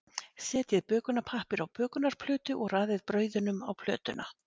Setjið bökunarpappír á bökunarplötu og raðið brauðunum á plötuna.